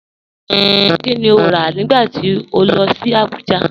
Kíni o rá nígbà tí o lọ sí Àbújà?